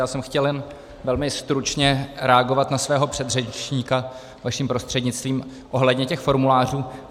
Já jsem chtěl jen velmi stručně reagovat na svého předřečníka, vaším prostřednictvím, ohledně těch formulářů.